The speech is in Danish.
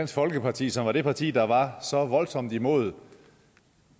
folkeparti som er det parti der var voldsomt imod